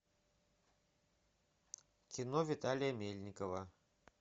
кино виталия мельникова